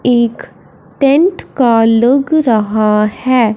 एक टेंट लगा रहा है।